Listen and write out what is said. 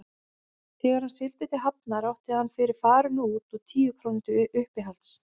Þegar hann sigldi til Hafnar átti hann fyrir farinu út og tíu krónur til uppihalds.